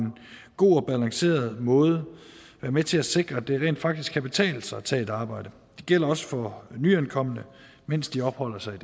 god og balanceret måde været med til at sikre at det rent faktisk kan betale sig at tage et arbejde det gælder også for nyankomne mens de opholder sig i